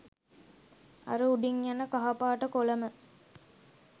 අර උඩින් යන කහ පාට කොලම